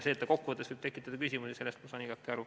Sellest, et see võib tekitada küsimusi, ma saan igati aru.